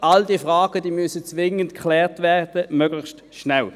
All diese Fragen müssen zwingend geklärt werden, möglichst schnell.